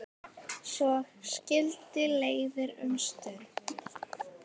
Svo skildi leiðir um stund.